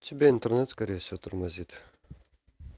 у тебя интернет скорее всего тормозит